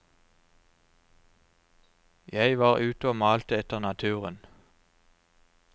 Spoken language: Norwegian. Jeg var ute og malte etter naturen.